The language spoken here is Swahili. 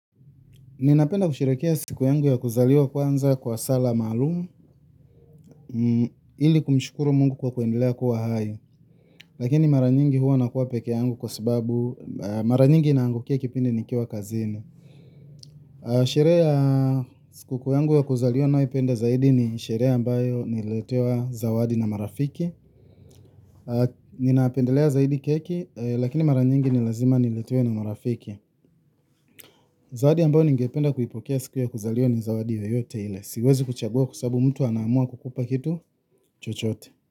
Ninapenda kusherekea siku yangu ya kuzaliwa kwanza kwa sala maalumu ili kumshukuru Mungu kwa kuendelea kuwa hai. Lakini mara nyingi huwa nakuwa peke yangu kwa sababu mara nyingi inaangukia kipindi nikiwa kazini. Sherehe ya siku kuu yangu ya kuzaliwa ninayoipenda zaidi ni sherehe ambayo nililetewa zawadi na marafiki. Ninapendelea zaidi keki lakini mara nyingi ni lazima niletewe na marafiki. Zawadi ambayo ningependa kuipokea siku ya kuzaliwa ni zawadi yoyote ile. Siwezi kuchagua kwa sababu mtu anaamua kukupa kitu chochote.